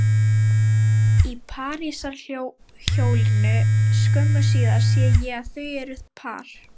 Í parísarhjólinu skömmu síðar sé ég að þau eru par